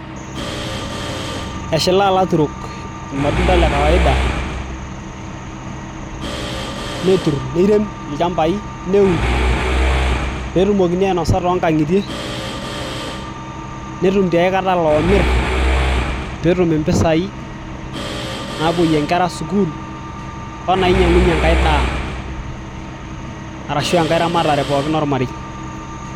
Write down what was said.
Eshilaa ilaturok irmatunda le kawaida netur neirem ilchambai neun peetumokini ainosa toonkang'itie netum tiaikata iloomir peetum impisai naapoyie inkera school onainyiang'unyie enkai daa arashua enkae ramatare pookin ormarei .